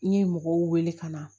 N ye mɔgɔw wele ka na